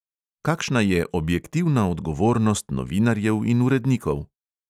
Kakšna je objektivna odgovornost novinarjev in urednikov?